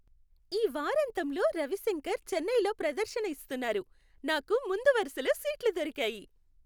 ఈ వారాంతంలో రవిశంకర్ చెన్నైలో ప్రదర్శన ఇస్తున్నారు, నాకు ముందు వరుసలో సీట్లు దొరికాయి!